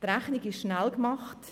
Die Rechnung ist schnell gemacht: